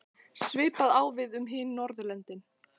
Svipað á við um hin Norðurlöndin.